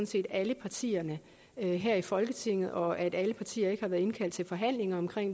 set alle partierne her i folketinget og at alle partier ikke har været indkaldt til forhandlinger om